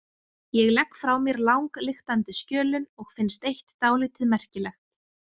Ég legg frá mér langlyktandi skjölin og finnst eitt dálítið merkilegt.